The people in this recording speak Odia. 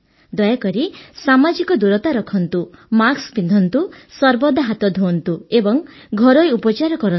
ଦୟାକରି ସାମାଜିକ ଦୂରତା ରଖନ୍ତୁ ମାସ୍କ ପିନ୍ଧନ୍ତୁ ସର୍ବଦା ହାତ ଧୁଅନ୍ତୁ ଏବଂ ଘରୋଇ ଉପଚାର କରନ୍ତୁ